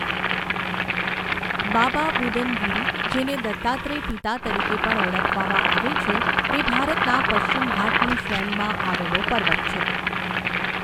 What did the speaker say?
બાબા બુદન ગિરિ, જેને દત્તાત્રેય પિતા તરીકે પણ ઓળખવામાં આવે છે, તે ભારતના પશ્ચિમ ઘાટની શ્રેણીમાં આવેલો પર્વત છે.